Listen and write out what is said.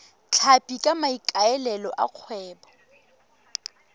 tlhapi ka maikaelelo a kgwebo